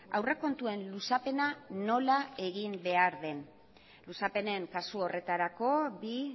aurrekontuen luzapena nola egin behar den luzapenen kasu horretarako bi